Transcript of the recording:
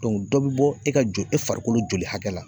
dɔ be bɔ e ka joli, e farikolo joli hakɛ la.